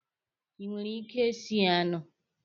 Ị nwere ike sie anụ.